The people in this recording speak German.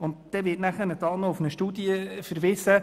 Dann wird noch auf eine Studie verwiesen.